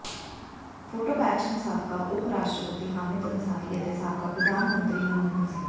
photo caption ਸਾਬਕਾ ਉਪ ਰਾਸ਼ਟਰਪਤੀ ਹਾਮਿਦ ਅੰਸਾਰੀ ਅਤੇ ਸਾਬਕਾ ਪ੍ਰਧਾਨ ਮੰਤਰੀ ਮਨਮੋਹਨ ਸਿੰਘ